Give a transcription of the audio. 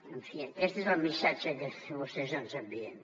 en fi aquest és el missatge que vostès ens envien